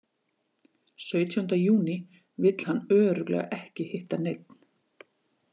Sautjánda júní vill hann örugglega ekki hitta neinn.